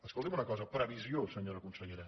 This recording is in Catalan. escolti’m una cosa previsió senyora consellera